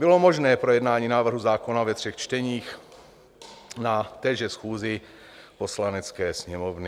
Bylo možné projednání návrhu zákona ve třech čteních na téže schůzi Poslanecké sněmovny.